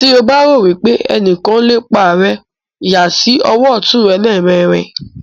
tí o bá rò wípé ẹnìkan ń lépa rẹ yà sí ọwọ́ ọ̀tún rẹ lẹ́ẹ̀mẹrin.